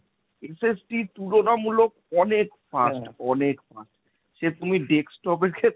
তুলনামূলক অনেক fast অনেক fast সে তুমি desktop এর খে~